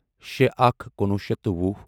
شےٚ اکھ کُنوُہ شیٚتھ تہٕ وُہ